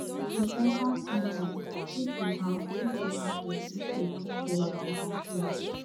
societal standards fit be how fit be how person take dey dress or appear